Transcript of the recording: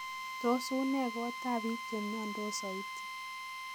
Tos unee koot ab biik chemiondos sooit?